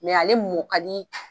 ale mɔ ka di